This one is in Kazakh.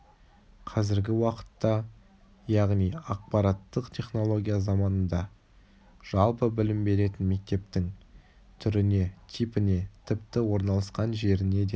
қазіргі уақытта яғни ақпараттық технология заманында жалпы білім беретін мектептің түріне типіне тіпті орналасқан жеріне де